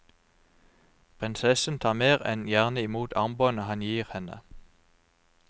Prinsessen tar mer enn gjerne i mot armbåndet han gir henne.